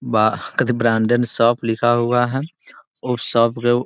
बा का the branded shop लिखा हुआ है उस शॉप के --